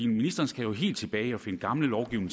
ministeren skal jo helt tilbage og finde gammel lovgivning